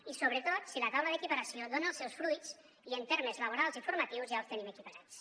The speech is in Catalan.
i sobretot si la taula d’equiparació dona els seus fruits i en termes laborals i formatius ja els tenim equiparats